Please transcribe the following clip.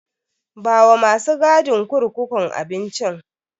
Bawa masu gadin kurkukun abincin.